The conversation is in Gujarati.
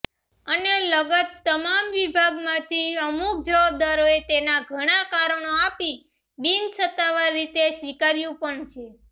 અને લગત તમામ વિભાગમાંથી અમુક જવાબદારોએ તેના ઘણા કારણો અપી બિનસતાવાર રીતે સ્વીકાર્યુ પણ છે